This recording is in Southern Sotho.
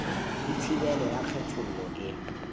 le thibelo ya kgethollo e